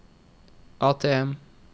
ATM